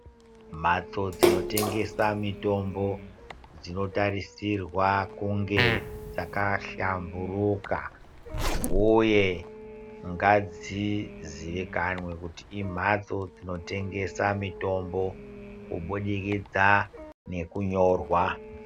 Mhatso dzinotengeswa mitombo, dzinotarisirwa kunge dzakahlamburuka, uye ngadziziikanwe kuti imhatso dzinotengesa mitombo, kubudikidza nekunyorwa.